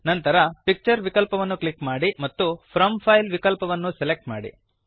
ನಂತರ ಪಿಕ್ಚರ್ ವಿಕಲ್ಪವನ್ನು ಕ್ಲಿಕ್ ಮಾಡಿ ಮತ್ತು ಫ್ರಾಮ್ ಫೈಲ್ ವಿಕಲ್ಪವನ್ನು ಸೆಲೆಕ್ಟ್ ಮಾಡಿ